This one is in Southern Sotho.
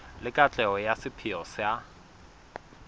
le katleho ya sepheo sa